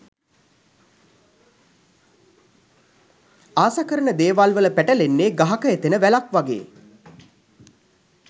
ආස කරන දේවල්වල පැටලෙන්නෙ ගහක එතෙන වැලක් වගේ.